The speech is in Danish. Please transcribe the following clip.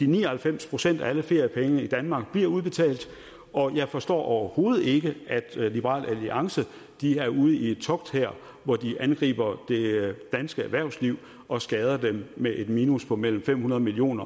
ni og halvfems procent af alle feriepenge i danmark bliver udbetalt og jeg forstår overhovedet ikke at liberal alliance er ude i et togt her hvor de angriber det danske erhvervsliv og skader dem med et minus på mellem fem hundrede million